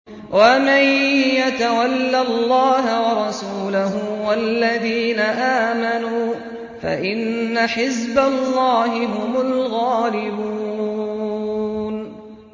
وَمَن يَتَوَلَّ اللَّهَ وَرَسُولَهُ وَالَّذِينَ آمَنُوا فَإِنَّ حِزْبَ اللَّهِ هُمُ الْغَالِبُونَ